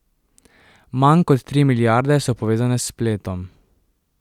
Manj kot tri milijarde so povezane s spletom.